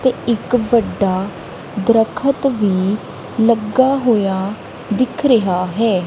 ਤੇ ਇੱਕ ਵੱਡਾ ਦਰਖਤ ਵੀ ਲੱਗਾ ਹੋਇਆ ਦਿਖ ਰਿਹਾ ਹੈ।